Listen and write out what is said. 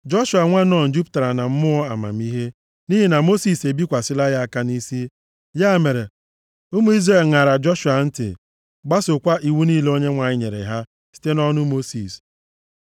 Joshua nwa Nun, jupụtara na mmụọ amamihe, + 34:9 \+xt Aịz 11:2\+xt* nʼihi na Mosis ebikwasịla ya aka nʼisi. Ya mere, ụmụ Izrel ṅara Joshua ntị, gbasookwa iwu niile Onyenwe anyị nyere ha site nʼọnụ Mosis.